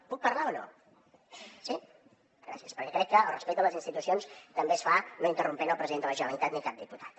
puc parlar o no sí gràcies perquè crec que el respecte a les institucions també es fa no interrompent el president de la generalitat ni a cap diputat